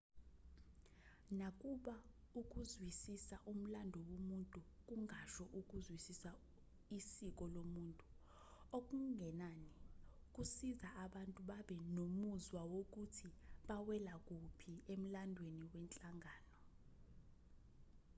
nakuba ukuzwisisa umlando womuntu kungasho ukuzwisisa isiko lomuntu okungenani kusiza abantu babe nomuzwa wokuthi bawela kuphi emlandweni wenhlangano